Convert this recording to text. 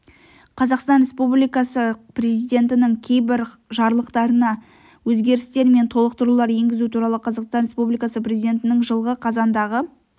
қазақстан республикасы президентінің кейбір жарлықтарына өзгерістер мен толықтырулар енгізу туралы қазақстан республикасы президентінің жылғы қазандағы